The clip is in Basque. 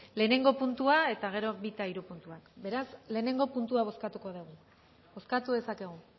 lehenengo puntua eta gero bi eta hiru puntuak beraz lehenengo puntua bozkatuko dugu bozkatu dezakegu